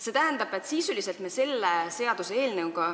See tähendab, et sisuliselt me selle seaduseelnõuga